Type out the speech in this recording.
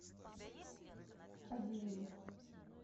фадееву